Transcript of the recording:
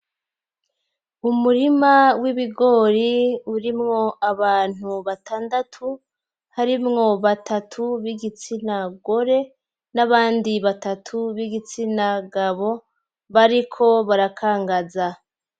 Umurima w'ibigori urimwo abantu batandatu harimwo batatu b'igitsina gore n'abandi batatu b'igitsina gabo bariko barakangaza.